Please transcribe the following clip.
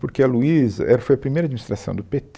Porque a Luiza, ela foi a primeira administração do pê tê